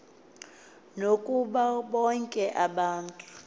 nakubo bonke abantu